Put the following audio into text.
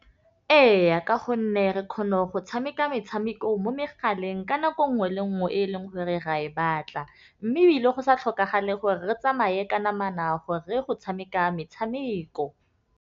Eya, ka gonne re kgone go tšhameka metšhameko mo megaleng ka nako nngwe le nngwe e e leng gore ra e batla, mme ebile go sa tlhokagale gore re tsamaye ka namana gore go tšhameka metšhameko.